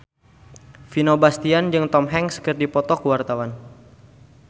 Vino Bastian jeung Tom Hanks keur dipoto ku wartawan